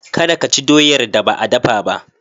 Kada ka ci doyar da ba a dafa ba.